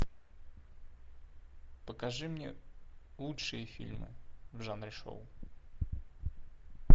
покажи мне лучшие фильмы в жанре шоу